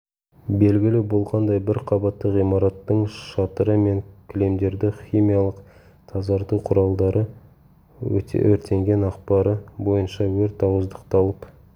белгілі болғандай бір қабатты ғимараттың шатыры мен кілемдерді химиялық тазарту құралдары өртенген ақпары бойынша өрт ауыздықталып